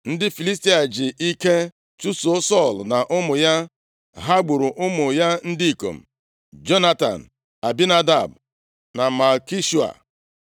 Ndị Filistia ji ike chụso Sọl na ụmụ ya. Ha gburu ụmụ ya ndị ikom, Jonatan, Abinadab na Malkishua.